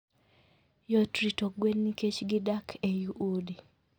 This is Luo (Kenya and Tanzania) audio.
Yot rito gwen nikech gidak ei udi.